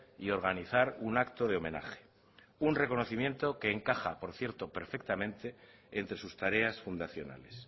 y organizar un acto de homenaje un reconocimiento que encaja por cierto perfectamente entre sus tareas fundacionales